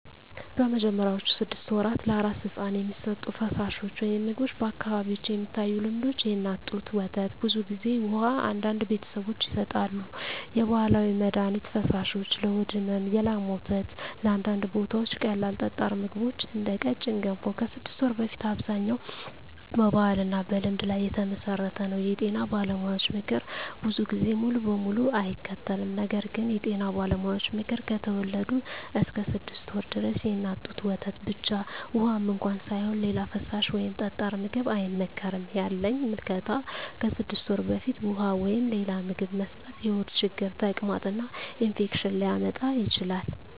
በመጀመሪያዎቹ 6 ወራት ለአራስ ሕፃን የሚሰጡ ፈሳሾች/ምግቦች በአካባቢዎች የሚታዩ ልምዶች፦ የእናት ጡት ወተት (ብዙ ጊዜ) ውሃ (አንዳንድ ቤተሰቦች ይሰጣሉ) የባህላዊ መድሀኒት ፈሳሾች (ለሆድ ሕመም) የላም ወተት (በአንዳንድ ቦታዎች) ቀላል ጠጣር ምግቦች (እንደ ቀጭን ገንፎ) ከ6 ወር በፊት አብዛኛው በባህልና በልምድ ላይ የተመሠረተ ነው የጤና ባለሙያዎች ምክር ብዙ ጊዜ ሙሉ በሙሉ አይከተልም ነገር ግን የጤና ባለሙያዎች ምክር፦ ከተወለዱ እስከ 6 ወር ድረስ የእናት ጡት ወተት ብቻ (ውሃም እንኳ ሳይሆን) ሌላ ፈሳሽ ወይም ጠጣር ምግብ አይመከርም ያለኝ ምልከታ ከ6 ወር በፊት ውሃ ወይም ሌላ ምግብ መስጠት የሆድ ችግር፣ ተቅማጥ እና ኢንፌክሽን ሊያመጣ ይችላል